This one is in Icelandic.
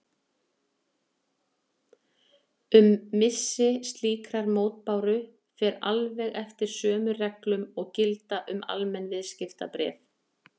Um missi slíkrar mótbáru fer alveg eftir sömu reglum og gilda um almenn viðskiptabréf.